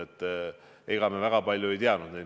Ega me neid enne väga palju ei teadnud.